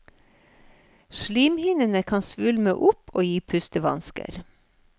Slimhinnene kan svulme opp og gi pustevansker.